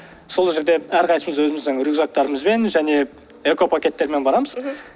сол жерде әрқайсымыз өзіміздің рюкзактарымызбен және экопакеттермен барамыз